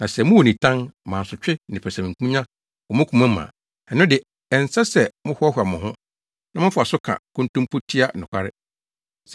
Na sɛ mowɔ nitan, mansotwe ne pɛsɛmenkominya wɔ mo koma mu a, ɛno de ɛnsɛ sɛ mohoahoa mo ho, na mofa so ka nkontompo tia nokware.